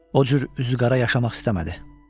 O cür üzü qara yaşamaq istəmədi.